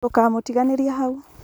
dũkamũtĩganĩrie hau